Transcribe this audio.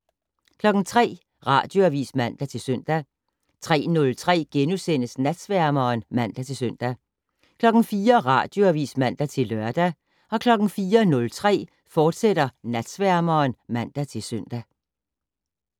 03:00: Radioavis (man-søn) 03:03: Natsværmeren *(man-søn) 04:00: Radioavis (man-lør) 04:03: Natsværmeren, fortsat (man-søn)